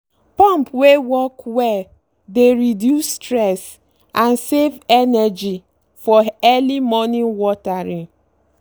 pump wey work well dey reduce stress and save energy for early morning watering.